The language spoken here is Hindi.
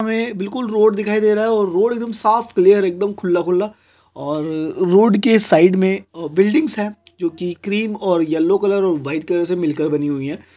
हमें बिल्कुल रोड दिखाई दे रहा और रोड एकदम साफ और क्लेयर एकदम खुला - खुला और रोड के साइड में बिल्डिंग्स है जो की क्रीम और यलो कलर और व्हाइट कलर से मिलकर बनी हुई है।